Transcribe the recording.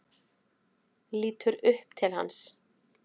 Lítur upp til hans.